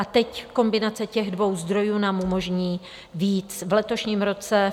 A teď kombinace těch dvou zdrojů nám umožní víc v letošním roce.